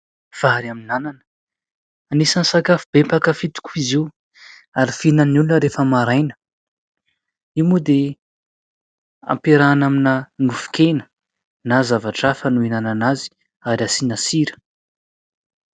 Vary amin'anana, anisan'ny sakafo be mpakafy tokoa izy io ary fihinan'ny olona rehefa maraina. Io moa dia ampiarahana amina nofon-kena, na zavatra hafa no hinanana azy ary asiana sira.